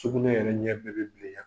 Sugunɛ yɛrɛ ɲɛ bɛɛ be bilenya.